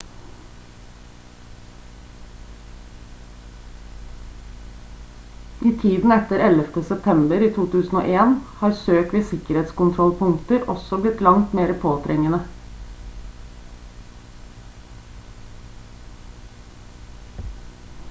i tiden etter 11. september 2001 har søk ved sikkerhetskontrollpunkter også blitt langt mer påtrengende